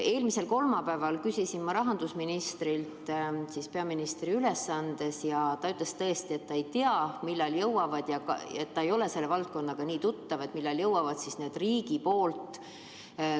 Eelmisel kolmapäeval küsisin ma selleteemalise küsimuse rahandusministrilt peaministri ülesannetes ja ta ütles, et ta ei tea, millal jõuavad riigi tellitud korduvkasutusega maskid kohalike omavalitsusteni.